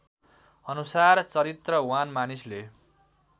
अनुसार चरत्रिवान मानिसले